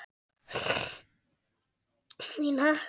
Þín Hekla.